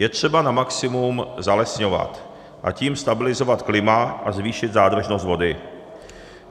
Je třeba na maximum zalesňovat, a tím stabilizovat klima a zvýšit zádržnost vody.